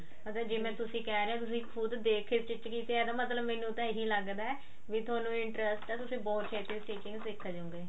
ਮਤਲਬ ਜਿਵੇਂ ਤੁਸੀਂ ਕਿਹ ਰਹੇ ਓ ਤੁਸੀਂ ਦੇਖ ਕੇ ਖੁਦ stich ਕੀਤੀ ਆ ਇਹਦਾ ਮਤਲਬ ਮੈਨੂੰ ਤਾਂ ਇਹੀ ਲੱਗਦਾ ਵੀ ਥੋਨੂੰ interest ਆ ਤੁਸੀਂ ਬਹੁਤ ਹੇਤੀ stitching ਸਿੱਖ ਜਾਓਗੇ